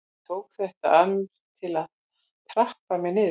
Ég tók þetta að mér til að trappa mér niður.